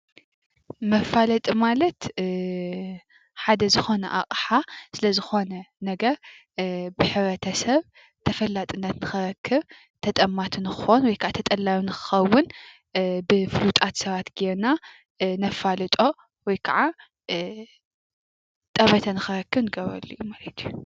መፋለጢ ማለት ሓደ ዝኾነ ኣቕሓ ስለዝኾነ ነገር ብሕ/ሰብ ተፈላጥነት ንኽረክብ ተጠማቲ ንክኾን ወይከዓ ተጠላቢ ንኽኸውን ብፍሉጣት ሰባት ጌርና ነፋልጦ ወይከዓ ጠመተ ንኽረክብ ንገብረሉ ማለት እዩ፡፡